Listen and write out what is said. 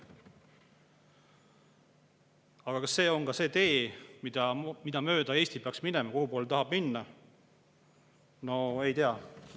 Aga kas see on see tee, mida mööda Eesti peaks minema, see, kuhupoole tahame minna?